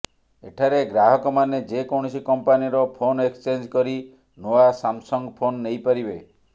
ଏଠାରେ ଗ୍ରାହକମାନେ ଯେକୌଣସି କଂପାନିର ଫୋନ୍ ଏକ୍ସଚେଞ୍ଜ୍ କରି ନୂଆ ସାମସଙ୍ଗ୍ ଫୋନ୍ ନେଇପାରିବେ